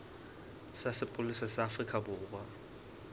sa sepolesa sa afrika borwa